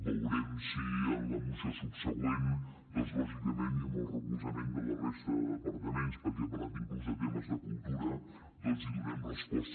veurem si en la moció subsegüent doncs lògicament i amb el recolzament de la resta de departaments perquè ha parlat inclús de temes de cultura doncs hi donem resposta